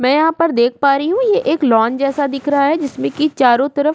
में यहाँ पर देख पा रही हूँ ये एक लॉन जैसा दिख रहा है जिसमें की चारों तरफ --